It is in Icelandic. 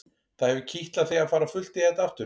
Það hefur kitlað þig að fara á fullt í þetta aftur?